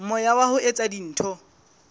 moya wa ho etsa dintho